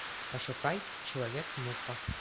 пошукай человек муха